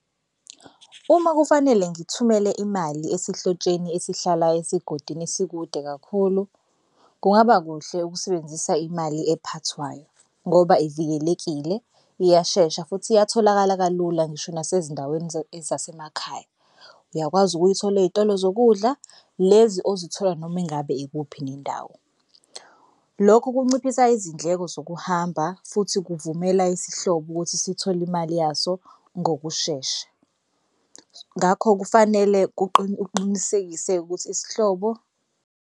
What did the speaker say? Uma kufanele ngithumele imali esihlotsheni esihlala esigodini esikude kakhulu, kungaba kuhle ukusebenzisa imali ephathwayo ngoba ivikelekile iyashesha futhi iyatholakala kalula ngisho nasezindaweni ezasemakhaya. Uyakwazi ukuyithola ey'tolo zokudla lezi ozithola noma engabe ikuphi nendawo. Lokhu kunciphisa izindleko zokuhamba futhi kuvumela isihlobo ukuthi sithole imali yaso ngokushesha. Ngakho kufanele uqinisekise ukuthi isihlobo.